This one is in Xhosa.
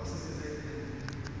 ukhonya